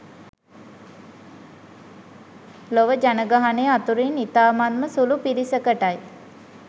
ලොව ජනගහණය අතුරින් ඉතාමත්ම සුළු පිරිසකටයි.